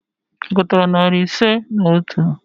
Ị gụtara narị ise na otu?